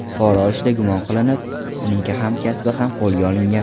Pora olishda gumon qilinib uning hamkasbi ham qo‘lga olingan.